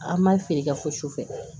An ma feere kɛ fo su fɛ